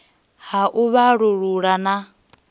ha u vhalullula na u